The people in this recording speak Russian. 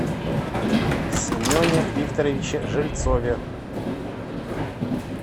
семене викторовиче жильцове